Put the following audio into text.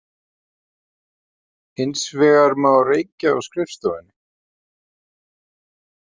Hins vegar má reykja á skrifstofum